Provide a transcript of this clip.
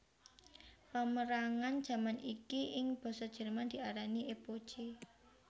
Pamérangan jaman iki ing basa Jerman diarani Epoche